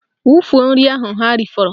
Wufuo nri ahụ ha rifọrọ!